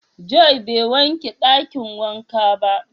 "Joy" ba ya wanke dakin wanka ba.